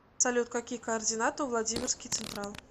салют какие координаты у владимирский централ